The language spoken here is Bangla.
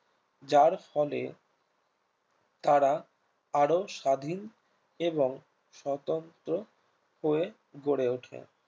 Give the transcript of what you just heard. যার ফলে তারা আরো স্বাধীন এবং স্বতন্ত্র হয়ে গড়ে ওঠে